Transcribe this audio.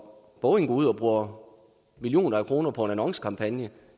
når boeing går ud og bruger millioner af kroner på en annoncekampagne